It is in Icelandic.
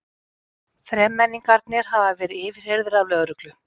Þremenningarnir hafa verið yfirheyrðir af lögreglu